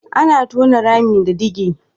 Ana tona rami da dige.